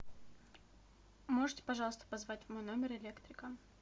можете пожалуйста позвать в мой номер электрика